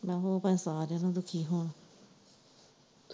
ਆਹੋ ਉਹ ਭਾਏ ਸਾਰਿਆ ਨਾ ਦੁੱਖੀ ਹੋਣ।